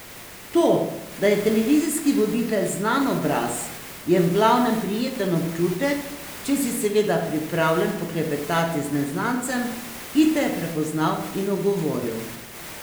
To, da je televizijski voditelj znan obraz je v glavnem prijeten občutek, če si seveda pripravljen poklepetati z neznancem, ki te je prepoznal in ogovoril.